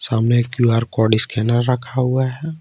सामने एक QR code scanner रखा हुआ है।